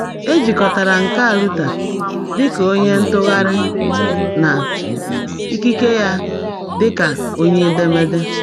E jikọtara nka Luther dị ka onye ntụgharị na ikike ya dị ka onye edemede.